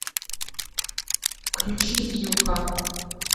включи юха